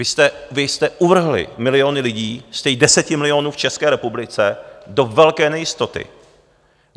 Vy jste uvrhli miliony lidí z těch deseti milionů v České republice do velké nejistoty.